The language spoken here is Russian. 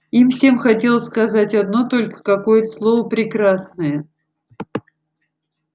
им всем хотелось сказать одно только какое-то слово прекрасное